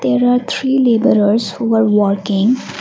there are three labours are working.